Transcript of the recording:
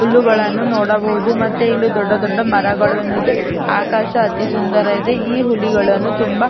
ಹುಲ್ಲುಗಳನ್ನು ನೋಡಬಹುದು ಮತ್ತೆ ಇಲ್ಲಿ ದೊಡ್ಡ ದೊಡ್ಡ ಮರಗಳನು ಇದೆ ಆಕಾಶ ಅತಿ ಸುಂದರ ಇದೆ ಈ ಹುಲಿಗಳನ್ನು ತುಂಬಾ --